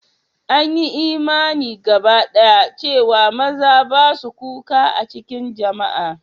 An yi imani gabadaya cewa maza ba su kuka a cikin jama'a.